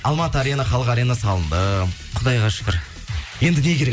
алматы арена халық арена салынды құдайға шүкір енді не керек